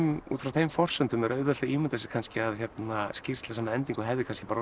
út frá þeim forsendum er auðvelt að ímynda sér kannski að skýrsla sem að endingu hefði kannski orðið